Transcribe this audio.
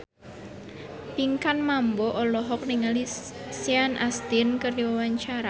Pinkan Mambo olohok ningali Sean Astin keur diwawancara